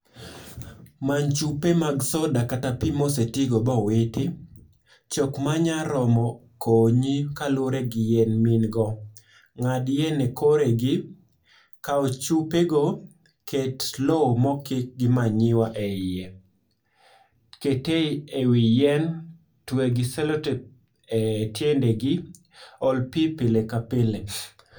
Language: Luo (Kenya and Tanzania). Many chupe mag soda kata pii mosetigo bowiti. Chok manyaromo konyi kaluore gi yien miingo. Ng'ad yien e kore gi. Kau chupe go, ket lowo mokik gi manyiwa eiye. Kete ewi yien, twe gi cellotape e tiendegi, ol pii pile kapile.